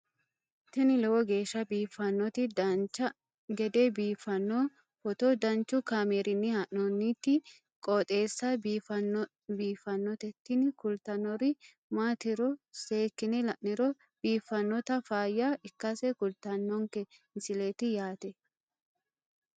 tini lowo geeshsha biiffannoti dancha gede biiffanno footo danchu kaameerinni haa'noonniti qooxeessa biiffannoti tini kultannori maatiro seekkine la'niro biiffannota faayya ikkase kultannoke misileeti yaate